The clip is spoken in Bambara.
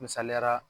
Misaliyala